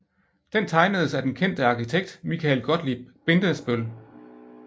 Den tegnedes af den kendte arkitekt Michael Gottlieb Bindesbøll